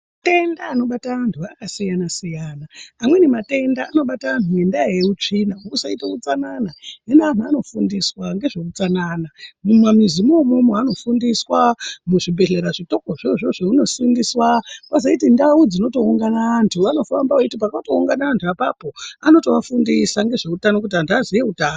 Mantenda anobata vanhu anosiyana siyana amweni matenda anobata anhu ngendaa yehutsvina, kusaite hutsanana zvino anhu vanofundiswa ngezvehutsanana ,mumamuzi imomo vanofundiswa, muzvibhedleya zvitoko izvozvo vanofundiswa ,kozoite ndau dzinotoungana vantu, vanofamba vachiti pakatoungana vantu ipapo vanovatofundisa nezvehutano kuti vantu vazive hutano.